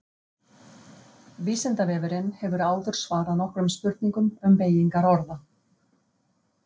Vísindavefurinn hefur áður svarað nokkrum spurningum um beygingar orða.